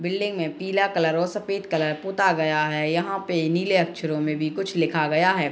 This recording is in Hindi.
बिल्डिंग में पीला कलर और सफ़ेद कलर पोता गया है यहाँ पे नीले अक्षरों में भी कुछ लिखा गया है।